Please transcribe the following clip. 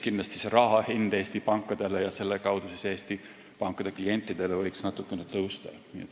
Kindlasti ka raha hind Eesti pankadele ja selle kaudu Eesti pankade klientidele võiks natukene tõusta.